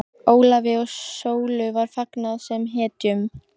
Ólafi og Sólu var fagnað sem hetjum.